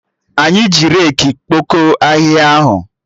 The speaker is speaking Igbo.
Anyị ji reki kpokọ ahịhịa ahụ